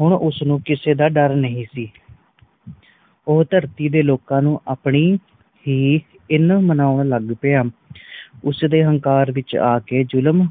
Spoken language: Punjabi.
ਹੁਣ ਉਸ ਨੂੰ ਕਿਸੇ ਦਾ ਡਾਰ ਨਹੀਂ ਸੀ ਓ ਧਰਤੀ ਦੇ ਲੋਕ ਨੂੰ ਆਪਣੀ ਹੀ ਹਿੰਨ ਮਨੌਣ ਲੱਗ ਪਯਾ ਉਸ ਦੇ ਹੰਕਾਰ ਵਿਚ ਆਕੇ ਜ਼ੁਲਮ